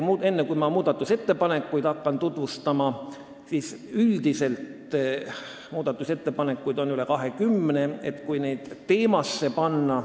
Enne, kui ma muudatusettepanekuid eraldi tutvustama hakkan, ütlen, et üldse on üle 20 muudatusettepaneku.